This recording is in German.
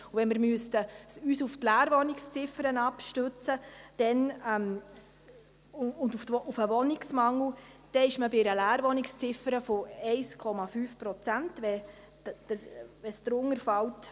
Wenn wir uns auf die Leerwohnungsziffer und auf den Wohnungsmangel stützen müssten, dann bestünde Wohnungsmangel, wenn die Leerwohnungsziffer unter 1,5 Prozent fällt.